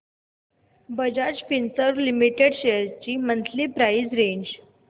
Bajaj Finserv limited shares ची monthly price range